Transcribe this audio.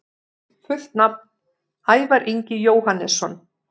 Fullt nafn: Ævar Ingi Jóhannesson